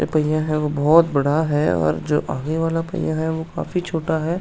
यह पइयाँ है वह बहोत बड़ा है और जो आगे वाला पइयाँ है वह काफी छोटा है।